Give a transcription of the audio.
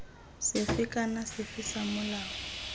sefe kana sefe sa molao